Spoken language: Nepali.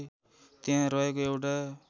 त्यहाँ रहेको एउटा